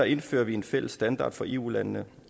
indfører vi en fælles standard for eu landene